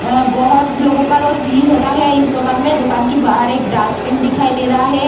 अ बोहोत लोगो का रोज भीड़ होता है। इस दुकान में दुकान की बाहार एक डस्टबिन दिखाई दे रहा है।